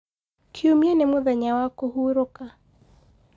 kiumia nĩ mũthenya wa kuhurũka